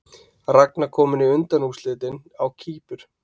Ragna komin í undanúrslitin á Kýpur